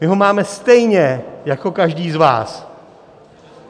My ho máme stejně jako každý z vás.